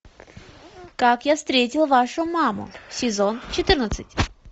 как я встретил вашу маму сезон четырнадцать